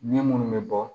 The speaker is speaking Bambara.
Ɲɛ munnu bɛ bɔ